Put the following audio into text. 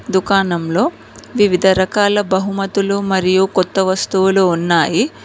దుకాణంలో వివిధ రకాల బహుమతులు మరియు కొత్త వస్తువులు ఉన్నాయి.